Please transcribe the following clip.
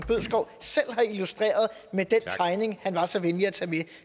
med den tegning han var så venlig at tage med